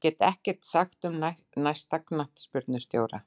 Ég get ekkert sagt um næsta knattspyrnustjóra.